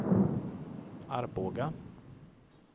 Arboga